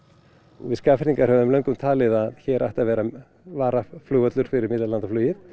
við Skagfirðingar höfum löngum talið að hér ætti að vera varaflugvöllur fyrir millilandaflugið